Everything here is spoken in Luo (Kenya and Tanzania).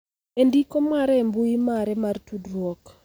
E ndiko mare e mbui mare mar tudruok,